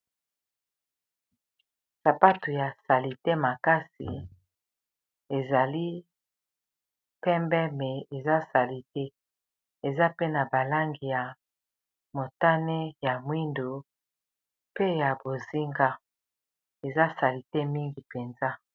sapato ya salite makasi ezali pembe me eza salite eza pena balange ya motane ya mwindu pe ya bozinga eza salite mingi mpenza